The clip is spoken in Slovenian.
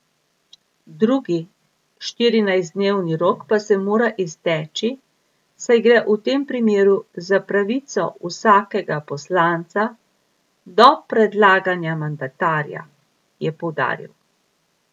Drugi štirinajstdnevni rok pa se mora izteči, saj gre v tem primeru za pravico vsakega poslanca do predlaganja mandatarja, je poudaril.